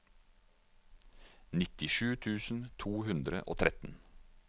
nittisju tusen to hundre og tretten